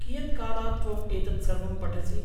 कियत् कालात् त्वम् एतत् सर्वं पठसि?